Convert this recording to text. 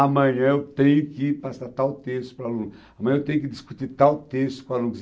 Amanhã eu tenho que passar tal texto para o aluno, amanhã eu tenho que discutir tal texto com o aluno.